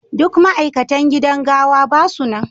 Duk ma'aikatan gidan gawa ba su nan.